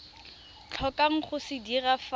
tlhokang go se dira fa